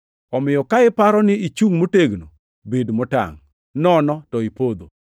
Omiyo, ka iparo ni ichungʼ motegno bed motangʼ, nono to ipodho!